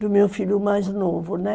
Do meu filho mais novo, né?